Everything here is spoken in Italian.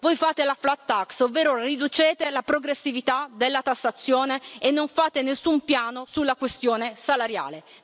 Voi fate la flat tax ovvero riducete la progressività della tassazione e non fate nessun piano sulla questione salariale.